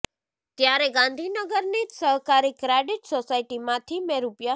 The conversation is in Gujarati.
ત્યારે ગાંધીનગરની જ સહકારી ક્રેડિટ સોસાયટીમાંથી મેં રૂ